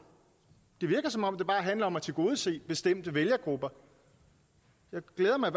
det virker som om det bare handler om at tilgodese bestemte vælgergrupper jeg glæder mig